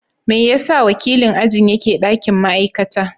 Me yasa wakilin ajin yake ɗakin ma'aikata?